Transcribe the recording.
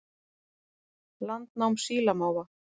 Landnám sílamáfa